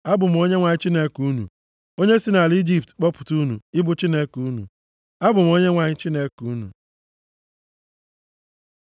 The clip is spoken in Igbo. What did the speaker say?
Abụ m Onyenwe anyị Chineke unu, onye si nʼala Ijipt kpọpụta unu ịbụ Chineke unu. Abụ m Onyenwe anyị Chineke unu.’ ”